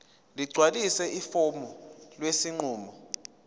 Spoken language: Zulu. ligcwalise ifomu lesinqumo